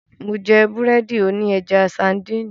Mó jẹ́ búrẹ́dì òní ẹja sańdìnì.